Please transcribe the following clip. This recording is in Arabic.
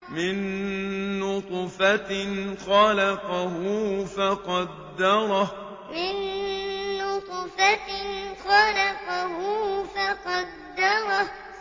مِن نُّطْفَةٍ خَلَقَهُ فَقَدَّرَهُ مِن نُّطْفَةٍ خَلَقَهُ فَقَدَّرَهُ